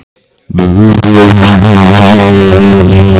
Sagði hún ekki að hann hefði verið Evrópumeistari í bekkpressu?